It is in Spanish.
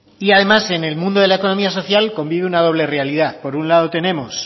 y además en el mundo de la economía social convive una doble realidad por un lado tenemos